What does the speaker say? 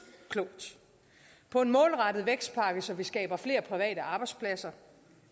klogt på en målrettet vækstpakke så vi skaber flere private arbejdspladser